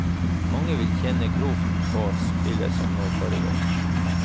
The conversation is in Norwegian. Mange vil tjene grovt på spillet som nå foregår.